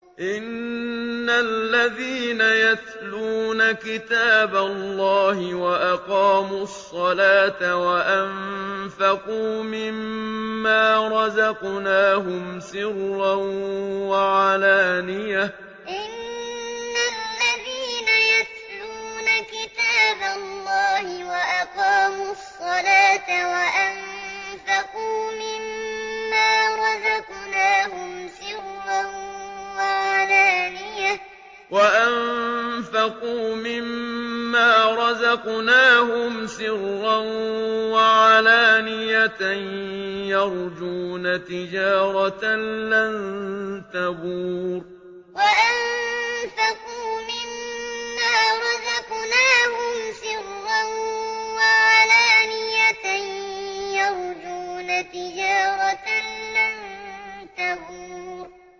إِنَّ الَّذِينَ يَتْلُونَ كِتَابَ اللَّهِ وَأَقَامُوا الصَّلَاةَ وَأَنفَقُوا مِمَّا رَزَقْنَاهُمْ سِرًّا وَعَلَانِيَةً يَرْجُونَ تِجَارَةً لَّن تَبُورَ إِنَّ الَّذِينَ يَتْلُونَ كِتَابَ اللَّهِ وَأَقَامُوا الصَّلَاةَ وَأَنفَقُوا مِمَّا رَزَقْنَاهُمْ سِرًّا وَعَلَانِيَةً يَرْجُونَ تِجَارَةً لَّن تَبُورَ